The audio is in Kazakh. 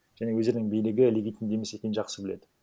және өздерінің билігі легитимді емес екенін жақсы біледі